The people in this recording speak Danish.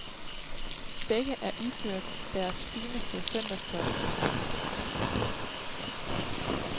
Begge er iført deres fineste søndagstøj.